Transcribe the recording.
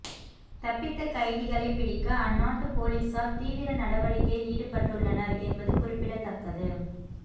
தப்பித்த கைதிகளை பிடிக்க அந்நாட்டு போலீசார் தீவிர நடவடிக்கையில் ஈடுபட்டுள்ளனர் என்பது குறிப்பிடத்தக்கது